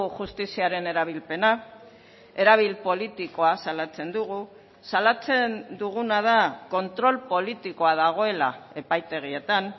justiziaren erabilpena erabil politikoa salatzen dugu salatzen duguna da kontrol politikoa dagoela epaitegietan